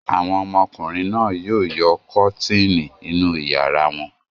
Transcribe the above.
Àwọn ọmọkùnrin náà yóò yọ kọ́tíìnì inú ìyàrá wọn.